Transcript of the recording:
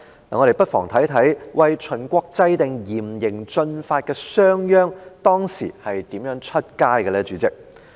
我們不妨看看為秦國制定嚴刑峻法的商鞅當時是如何外出呢？